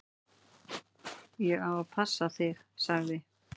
"""Ég á að passa þig, sagði"""